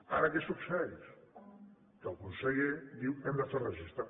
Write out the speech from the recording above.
ara què succeeix que el conseller diu hem de fer un registre